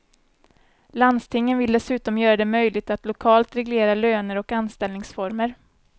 Landstingen vill dessutom göra det möjligt att lokalt reglera löner och anställningsformer.